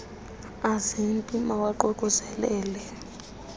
azi pim mawaququzelelel